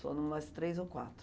Só em umas três ou quatro.